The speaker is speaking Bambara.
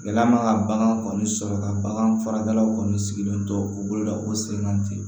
Gɛlɛya man ka bagan kɔni sɔrɔ ka bagan fara kɔni sigilen to u bolo la o siranna ten